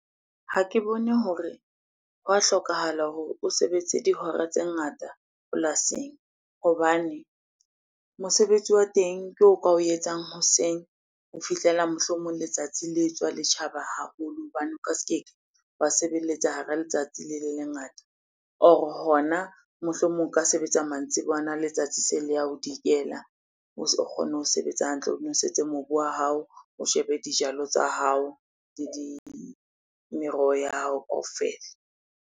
Ha ke bone hore ho a hlokahala hore o sebetse dihora tse ngata polasing hobane mosebetsi wa teng ke o ka o etsang hoseng ho fihlela mohlomong letsatsi le tswa le tjhaba haholo. Hobane o ka se ke wa sebeletsa hara letsatsi le le lengata or hona mohlomong o ka sebetsa mantsibuyana, letsatsi se le ya ho dikela. O kgone ho sebetsa hantle, o nwesetse mobu wa hao, o shebe dijalo tsa hao le di, meroho ya hao kaofela.